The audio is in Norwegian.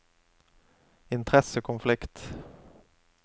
interessekonflikt